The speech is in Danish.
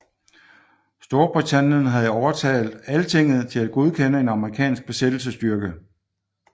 Storbritannien havde overtalt Altinget til at godkende en amerikansk besættelsesstyrke